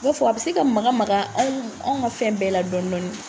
U b'a fɔ a bi se ka maka maka anw ka fɛn bɛɛ la dɔɔnin dɔɔnin.